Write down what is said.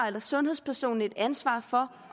eller sundhedspersonen et ansvar for